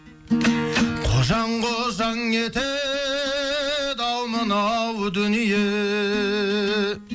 қожаң қожаң етеді ау мынау дүние